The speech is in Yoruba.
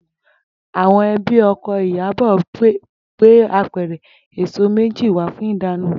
Àwo̩n e̩bí o̩ko̩ Ìyábò̩ gbé apè̩rè̩ èso méjì wá fún ìdána